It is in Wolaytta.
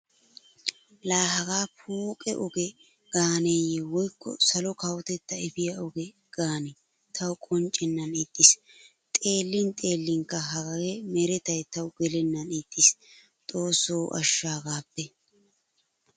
Laa hagaa pooqe oge gaaneeyye woykko salo kawotetta efiya oge gaane tawu qonccennan ixxiis. Xeellin xeellinkka haga meretay tawu gelennan ixxiis xoossi ashsho hagaappe.